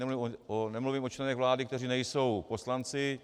Nemluvím o členech vlády, kteří nejsou poslanci.